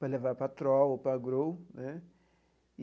para levar para a Troll ou para a Grow né.